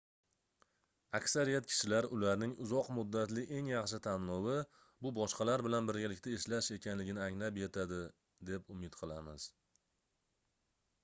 aksariyat kishilar ularning uzoq muddatli eng yaxshi tanlovi bu boshqalar bilan birgalikda ishlash ekanligini anglab yetadi deb umid qilamiz